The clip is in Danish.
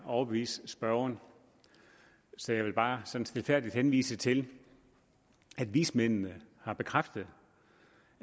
overbevise spørgeren så jeg vil bare sådan stilfærdigt henvise til at vismændene har bekræftet